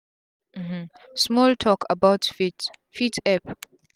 um small talk about faith fit epp